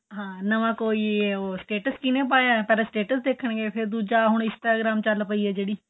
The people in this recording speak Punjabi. ਨਵਾਂ ਕੋਈ status ਕਿੰਨੇ ਪਾਇਆ ਪਹਿਲਾਂ status ਦੇਖਣ ਗਏ ਫ਼ਿਰ ਦੂਜਾ Instagram ਚੱਲ ਗਈ ਏ ਜਿਹੜੀ